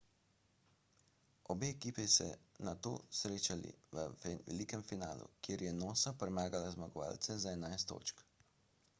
obe ekipi sta se nato srečali v velikem polfinalu kjer je noosa premagala zmagovalce za 11 točk